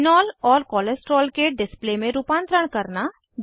phenol और cholesterol के display में रूपांतरण करना